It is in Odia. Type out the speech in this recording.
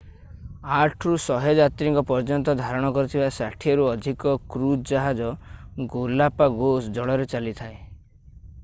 8 ରୁ 100 ଯାତ୍ରୀଙ୍କ ପର୍ଯ୍ୟନ୍ତ ଧାରଣ କରୁଥିବା 60ରୁ ଅଧିକ କୄଜ ଜାହାଜ ଗାଲାପାଗୋସ୍ ଜଳରେ ଚାଲିଥାଏ